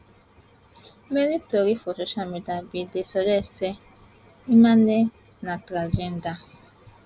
many tori for social media bin dey suggest say imane na transgender